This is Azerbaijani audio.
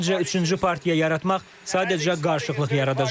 Məncə, üçüncü partiya yaratmaq sadəcə qarışıqlıq yaradacaq.